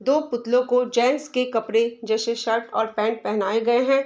दो पुतलो को जेन्ट्स के कपड़े जैसे शर्ट और पेंट पहनाए गए है।